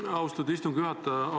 Aitäh, austatud istungi juhataja!